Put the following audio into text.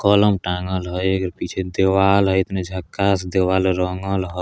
टांगन हई पीछे दीवाल हई इतनी झक्कास दीवाल रंगल हई |